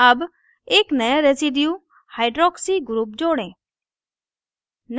add एक नया residuehydroxy group जोड़ें